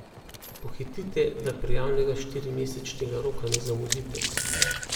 Pohitite, da prijavnega štirimesečnega roka ne zamudite.